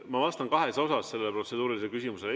Ma vastan kahes osas sellele protseduurilisele küsimusele.